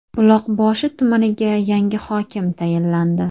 Buloqboshi tumaniga yangi hokim tayinlandi.